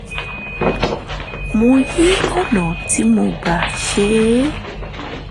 mo yí ọ̀nà tí mo gbà ṣe é